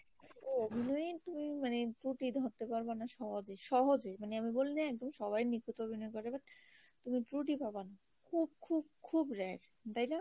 অভিনয়ে তুমি মানে ত্রুটি ধরতে পারবনা সহজে সহজে মানে আমি বলিএকদম সবাই নিখুঁত ভাবে অভিনয় করে but তুমি ত্রুটি পাবা না খুবই rare তাই না